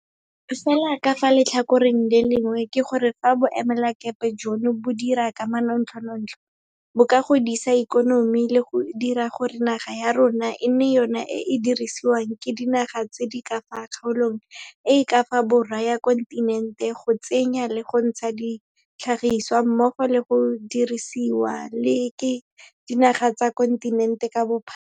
Fela ka fa letlhakoreng le lengwe ke gore fa boemelakepe jono bo dira ka manontlhotlho, bo ka godisa ikonomi le go dira gore naga ya rona e nne yona e e dirisiwang ke dinaga tse di ka fa kgaolong e e ka fa borwa ya kontinente go tsenya le go ntsha ditlhagisiwa mmogo le go dirisiwa le ke dinaga tsa kontinente ka bophara.